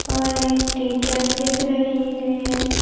और एक टीचर दिख रही हैं।